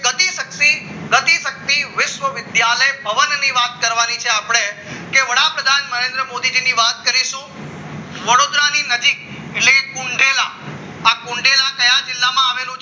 ગતિ શક્તિ વિશ્વવિદ્યાલય ભવનની વાત કરવાની છે આપણે કે વડાપ્રધાન નરેન્દ્ર મોદીજીની વાત કરીશું વડોદરાની નજીક એટલે કુંઢેરા આ કુંઢેરા કયા જિલ્લામાં આવેલું છે